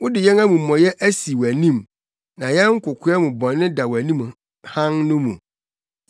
Wode yɛn amumɔyɛ asi wʼanim, na yɛn kokoa mu bɔne da wʼanim hann no mu.